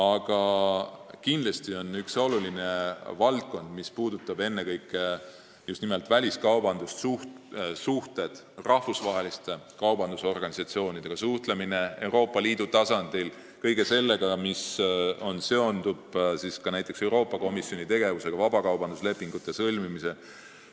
Aga kindlasti on üks oluline valdkond ka väliskaubandussuhted, rahvusvaheliste kaubandusorganisatsioonidega suhtlemine Euroopa Liidu tasandil – kõik see, mis seondub näiteks Euroopa Komisjoni tegevusega, vabakaubanduslepingute sõlmimisega.